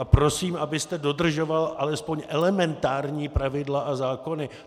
A prosím, abyste dodržoval alespoň elementární pravidla a zákony.